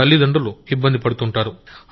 తల్లిదండ్రులు ఇబ్బందిపడుతుంటారు